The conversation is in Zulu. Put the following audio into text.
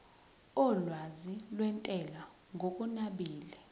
olwazi lwentela ngokunabile